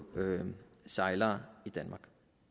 sejlere i danmark